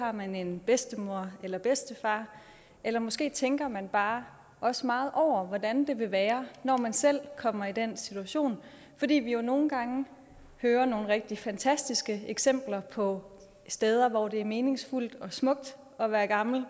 har man en bedstemor eller bedstefar eller måske tænker man bare også meget over hvordan det vil være når man selv kommer i den situation fordi vi jo nogle gange hører nogle rigtig fantastiske eksempler på steder hvor det er meningsfuldt og smukt at være gammel